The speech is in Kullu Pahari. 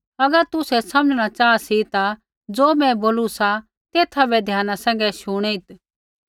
अगर तुसै समझ़णा चाहा सी ता ज़ो मैं बोलू सा तेथा बै ध्याना सैंघै शुणित्